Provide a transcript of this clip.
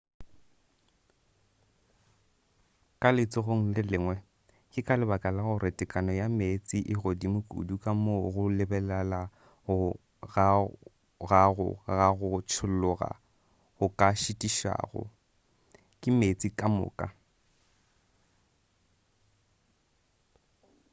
ka letsogong le lengwe ke ka lebaka la gore tekano ya meetse e godimo kudu ka moo go lebelela ga gago ga go tšholloga go ka šitišwago ke meetse kamoka